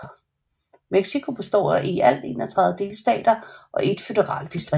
Mexico består af i alt 31 delstater og 1 føderalt distrikt